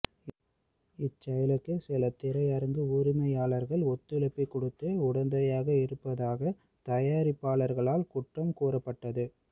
இச்செயலுக்கு சில திரையரங்கு உரிமையாளர்கள் ஒத்துழைப்பு கொடுத்து உடந்தையாக இருப்பதாக தயாரிப்பாளர்களால் குற்றம் கூறப்பட்டது